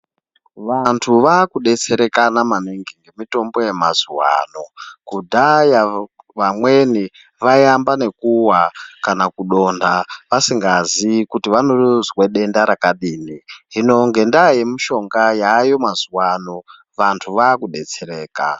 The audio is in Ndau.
Vantu vakudetserekana maningi nemitombo yamazuwa ano. Kudhaya vamweni vaiamba nekuwa kana kudonha vasingazii kuti vanozwe denda rakadini. Hino ngendaa yemishonga yaayo mazuwano, vantu vakubetsereka.